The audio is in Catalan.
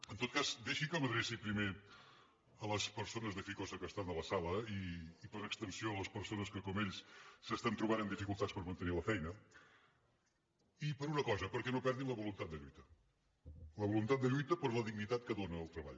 en tot cas deixi que m’adreci primer a les persones de ficosa que estan a la sala i per extensió a les persones que com ells s’estan trobant en dificultats per mantenir la feina i per una cosa perquè no perdin la voluntat de lluita la voluntat de lluita per la dignitat que dóna el treball